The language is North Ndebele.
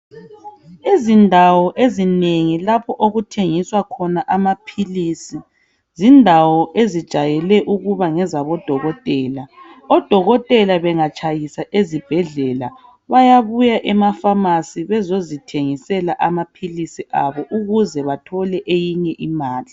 Izindawo ezinengi lapho okuthengiswa khona amaphilisi zindawo ezijwayele ukuba ngezabo dokotela. Odokotela bengatshayisa ezibhendlela bayabuya emafamasi bezozithengisela amaphilisi abo ukuze bathole eyinye imali.